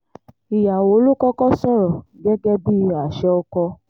ìyàwó ló kọ́kọ́ sọ̀rọ̀ gẹ́gẹ́ bíi àṣẹ ọkọ